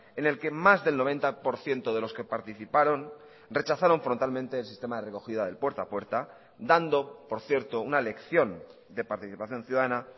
en el que más del noventa por ciento de los que participaron rechazaron frontalmente el sistema de recogida del puerta a puerta dando por cierto una lección de participación ciudadana